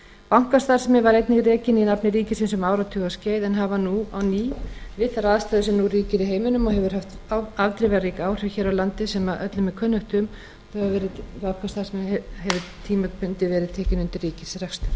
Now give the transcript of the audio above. bankastarfsemi var einnig rekin í nafni ríkisins um áratugaskeið en hefur við þær aðstæður sem nú ríkja í heiminum sem hafa haft afdrifarík áhrif hér á landi sem öllum er kunnugt um tímabundið verið tekin í ríkisrekstur á